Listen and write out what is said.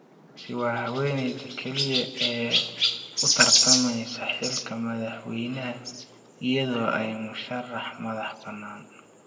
Nancy waa haweeneyda kaliya ee u tartameysa xilka madaxweynaha iyadoo ah musharax madax banaan.